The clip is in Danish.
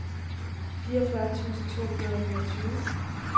fireogfyrre tusind to hundrede og niogtyve